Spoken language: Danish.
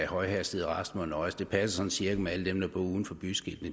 højhastighed og at resten må nøjes det passer sådan cirka med at alle dem der bor uden for byskiltene